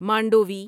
Mandvi